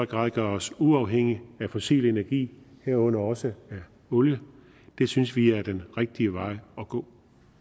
grad gør os uafhængig af fossil energi herunder også olie det synes vi er den rigtige vej at gå